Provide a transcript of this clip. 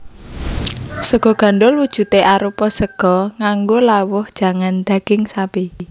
Sega gandhul wujudé arupa sega nganggo lawuh jangan daging sapi